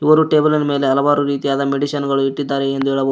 ಒಬ್ಬರು ಟೇಬಲ್ನ ಮೇಲೆ ಹಲವಾರು ರೀತಿಯಾದ ಮೆಡಿಸನ್ ಗಳು ಇಟ್ಟಿದ್ದಾರೆ ಎಂದು ಹೇಳಬಹುದು.